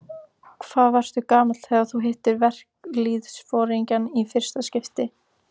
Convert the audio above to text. Hvað varstu gamall þegar þú hittir verkalýðsforingja í fyrsta skipti?